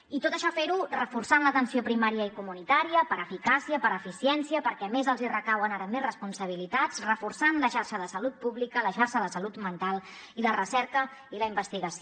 i tot això fer ho reforçant l’atenció primària i comunitària per eficàcia per eficiència perquè a més els recauen ara més responsabilitats reforçant la xarxa de salut pública la xarxa de salut mental i la recerca i la investigació